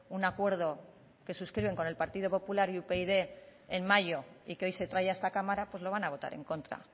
un acuerdo que suscriben con el partido popular y upyd en mayo y que hoy se trae a esta cámara pues lo van a votar en contra